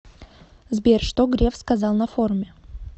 сбер что греф сказал на форуме